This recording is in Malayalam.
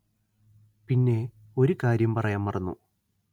പിന്നെ ഒരു കാര്യം പറയാന്‍ മറന്നു